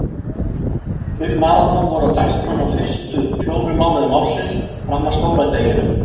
Fimm maraþon voru á dagskránni á fyrstu fjórum mánuðum ársins fram að stóra deginum.